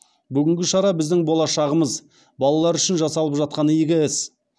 бүгінгі шара біздің болашағымыз балалар үшін жасалып жатқан игі іс